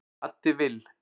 Addi Vill